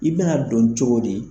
I bɛna dɔn cogo di ye